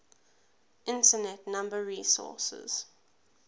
internet number resources